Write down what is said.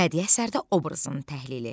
Bədii əsərdə obrazın təhlili.